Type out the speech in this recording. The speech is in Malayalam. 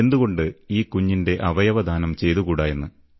എന്തുകൊണ്ട് ഈ കുഞ്ഞിന്റെ അവയവദാനം ചെയ്തുകൂടാ എന്ന്